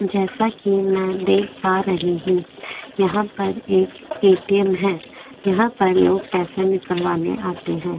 जैसा कि मैं देख पा रही हूं यहां पर एक एटीएम है यहां पर लोग पैसा निकलवाने आते हैं।